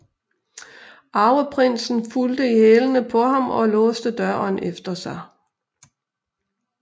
Arveprinsen fulgte i hælene på ham og låste døren efter sig